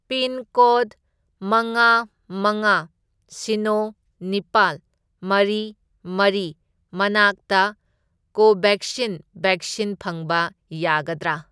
Pincode ꯃꯉꯥ, ꯃꯉꯥ, ꯁꯤꯅꯣ, ꯅꯤꯄꯥꯜ, ꯃꯔꯤ, ꯃꯔꯤ ꯃꯅꯥꯛꯇ ꯀꯣꯚꯦꯛꯁꯤꯟ ꯚꯦꯛꯁꯤꯟ ꯐꯪꯕ ꯌꯥꯒꯗ꯭ꯔꯥ?